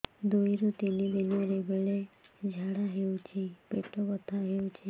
ଦୁଇରୁ ତିନି ଦିନରେ ବେଳେ ଝାଡ଼ା ହେଉଛି ପେଟ ବଥା ହେଉଛି